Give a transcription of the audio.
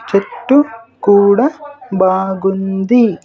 చెట్టు కూడా బాగుంది.